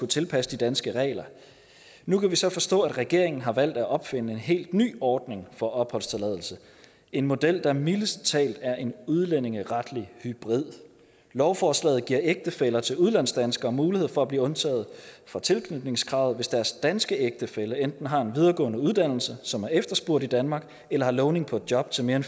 tilpasse de danske regler nu kan vi så forstå at regeringen har valgt at opfinde en helt ny ordning for opholdstilladelse en model der mildest talt er en udlændingeretlig hybrid lovforslaget giver ægtefæller til udlandsdanskere mulighed for at blive undtaget fra tilknytningskravet hvis deres danske ægtefælle enten har en videregående uddannelse som er efterspurgt i danmark eller har lovning på et job til mere end